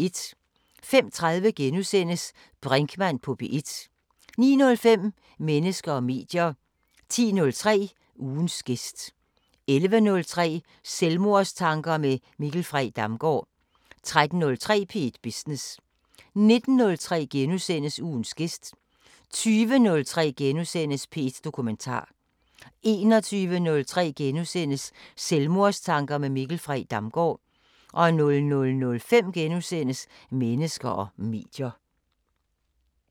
05:30: Brinkmann på P1 * 09:05: Mennesker og medier 10:03: Ugens gæst 11:03: Selvmordstanker med Mikkel Frey Damgaard 13:03: P1 Business 19:03: Ugens gæst * 20:03: P1 Dokumentar * 21:03: Selvmordstanker med Mikkel Frey Damgaard * 00:05: Mennesker og medier *